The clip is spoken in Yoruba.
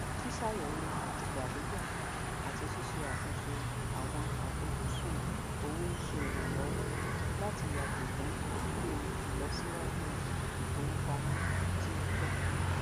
ṣíṣàyẹwò àtìgbàdégbà àti ṣíse àtúnṣe àwọn àfojúsùn owó ń ṣe iranlọwọ láti yàgò fún kíkùnà ìlọsíwájú ìfowópamọ tí o fẹ